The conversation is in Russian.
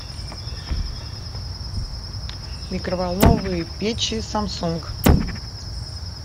микроволновые печи самсунг